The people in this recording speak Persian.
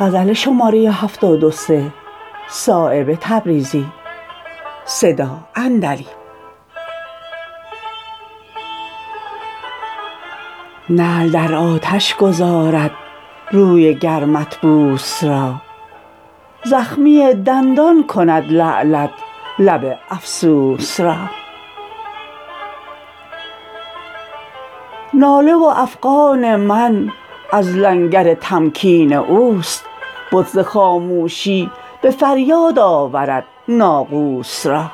نعل در آتش گدازد روی گرمت بوس را زخمی دندان کند لعلت لب افسوس را ناله و افغان من از لنگر تمکین اوست بت ز خاموشی به فریاد آورد ناقوس را